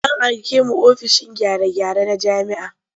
An aike mu ofishin gyare-gyare na jami'a.